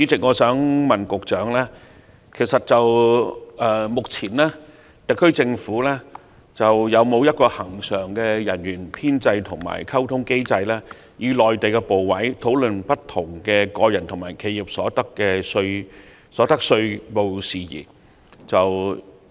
我想問局長，特區政府目前有否恆常人員編制和溝通機制，以便與內地部委討論各種個人和企業所得稅事宜？